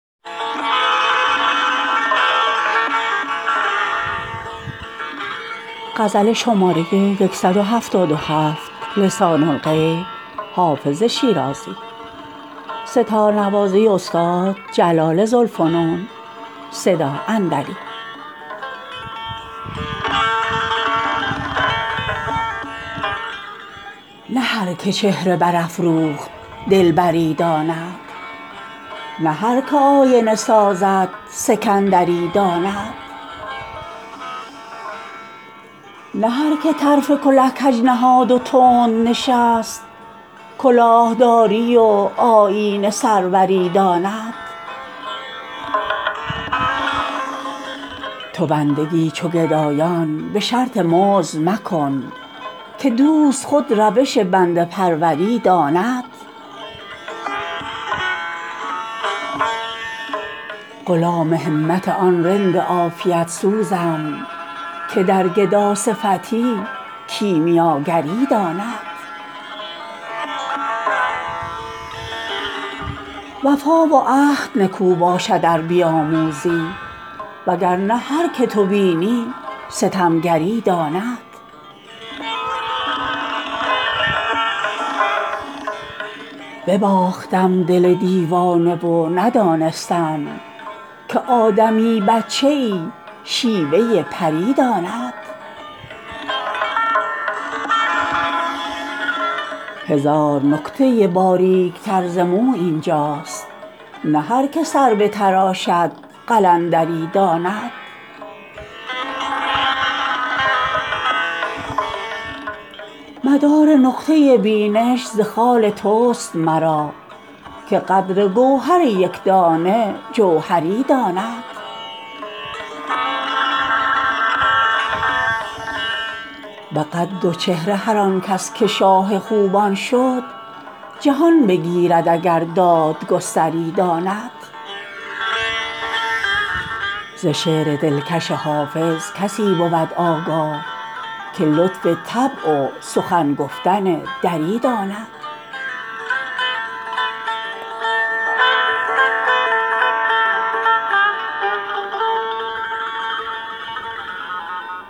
نه هر که چهره برافروخت دلبری داند نه هر که آینه سازد سکندری داند نه هر که طرف کله کج نهاد و تند نشست کلاه داری و آیین سروری داند تو بندگی چو گدایان به شرط مزد مکن که دوست خود روش بنده پروری داند غلام همت آن رند عافیت سوزم که در گداصفتی کیمیاگری داند وفا و عهد نکو باشد ار بیاموزی وگر نه هر که تو بینی ستمگری داند بباختم دل دیوانه و ندانستم که آدمی بچه ای شیوه پری داند هزار نکته باریک تر ز مو این جاست نه هر که سر بتراشد قلندری داند مدار نقطه بینش ز خال توست مرا که قدر گوهر یک دانه جوهری داند به قد و چهره هر آن کس که شاه خوبان شد جهان بگیرد اگر دادگستری داند ز شعر دلکش حافظ کسی بود آگاه که لطف طبع و سخن گفتن دری داند